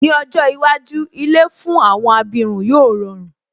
Ní ọjọ́ iwájú, ilé fún àwọn abirùn yóò rọrùn